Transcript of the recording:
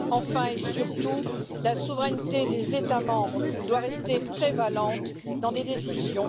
Enfin, et surtout, la souveraineté des États membres doit continuer à prévaloir dans les décisions.